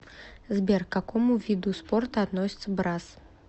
сбер к какому виду спорта относится брасс